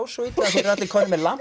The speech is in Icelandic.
svo illa að þeir eru allir komnir með